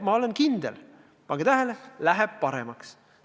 Ma olen kindel – pange tähele –, et läheb paremaks.